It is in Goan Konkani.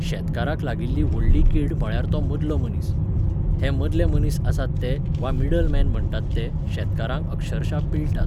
शेतकाराक लागिल्ली व्हडली कीड म्हळ्यार तो मदलो मनीस. हे मदले मनीस आसात ते, वा मिडलमॅन म्हणटात ते, शेतकारांक अक्षरशा पिळटात